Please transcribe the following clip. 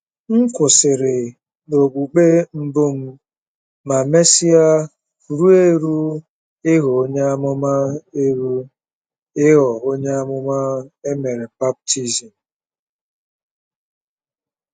M kwụsịrị n’okpukpe mbụ m ma mesịa ruo eru ịghọ Onyeàmà eru ịghọ Onyeàmà e mere baptizim.